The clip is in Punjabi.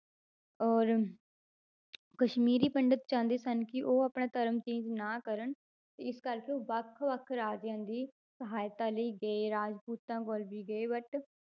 ਔਰ ਕਸ਼ਮੀਰੀ ਪੰਡਿਤ ਚਾਹੁੰਦੇ ਸਨ ਕਿ ਉਹ ਆਪਣਾ ਧਰਮ change ਨਾ ਕਰਨ ਤੇ ਇਸ ਕਰਕੇ ਉਹ ਵੱਖ ਵੱਖ ਰਾਜਿਆਂ ਦੀ ਸਹਾਇਤਾ ਲਈ ਗਏ ਰਾਜਪੂਤਾਂ ਕੋਲ ਵੀ ਗਏ but